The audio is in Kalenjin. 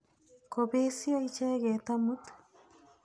Kopesyo icheket amut.